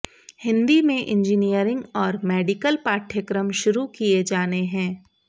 हिंदी में इंजीनियरिंग और मेडिकल पाठ्यक्रम शुरू किए जाने है